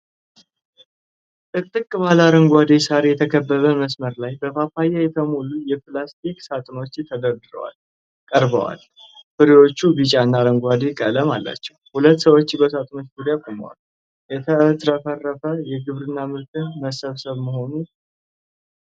ጥቅጥቅ ባለ አረንጓዴ ሳር የተከበበ መስመር ላይ በፓፓያ የተሞሉ የፕላስቲክ ሳጥኖች ተደርድረው ቀርበዋል። ፍሬዎቹ ቢጫ እና አረንጓዴ ቀለም አላቸው። ሁለት ሰዎች በሳጥኖቹ ዙሪያ ቆመዋል። የተትረፈረፈ የግብርና ምርት መሰብሰብ መሆኑን ግልጽ ነው።